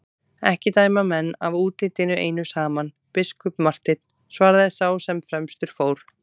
Ekki dæma menn af útlitinu einu saman, biskup Marteinn, svaraði sá sem fremstur fór.